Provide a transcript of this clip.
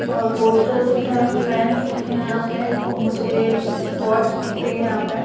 और पोस्टर दिख रहा है फैंस दिख रहा है यहा पर और मुझे वॉच दिख रही है यहा पर--